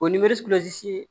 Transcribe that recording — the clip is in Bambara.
O ye